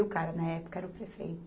E o cara na época era o prefeito.